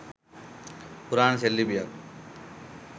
පුරාණ සෙල් ලිපියක්